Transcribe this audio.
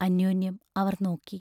അന്യോന്യം അവർ നോക്കി.